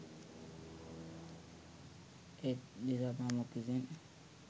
ඒත් දිසාපාමොක් විසින්